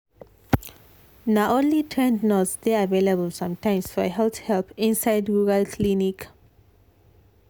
na only trained nurse dey available sometimes for health help inside rural clinic.